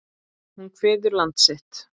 Hún kveður land sitt.